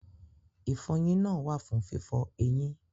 Ìfọyín náà wà fún fífọ eyín.